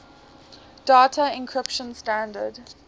data encryption standard